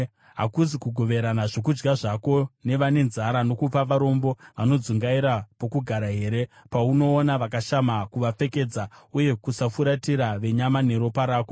Hakuzi kugoverana zvokudya zvako nevane nzara, nokupa varombo vanodzungaira pokugara here, paunoona vakashama, kuvapfekedza, uye kusafuratira venyama neropa rako?